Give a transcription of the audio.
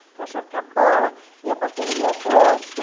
Porque eu achava que a bola ia bater no meu rosto.